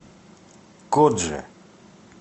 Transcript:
кодже